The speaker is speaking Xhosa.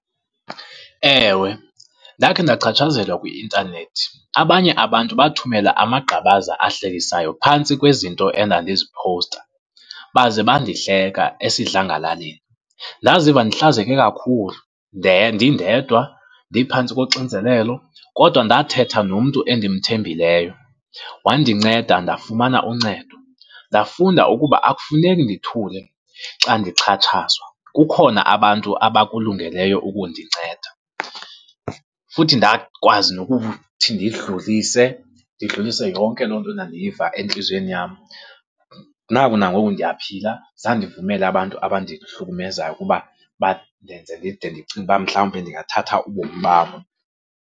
Ewe, ndakhe ndachatshazelwa kwi-intanethi. Abanye abantu bathumela amagqabaza ahlekisayo phantsi kwezinto endandiziphowusta, baze bandihleka esidlangalaleni. Ndaziva ndihlazeke kakhulu, ndindedwa ndiphantsi koxinzelelo, kodwa ndathetha nomntu endimthembileyo, wandinceda ndafumana uncedo. Ndafunda ukuba akufuneki ndithule xa ndixhatshazwa, kukhona abantu abakulungeleyo ukundinceda. Futhi ndakwazi nokuthi ndidlulise, ndidlulise yonke loo nto ndandiyiva entliziyweni yam, naku nangoku ndiyaphila zange ndivumele abantu abandihlukumezayo ukuba bandenze ndide ndicinge ukuba mhlawumbe ndingathatha ubomi bam.